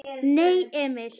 Nei, Emil!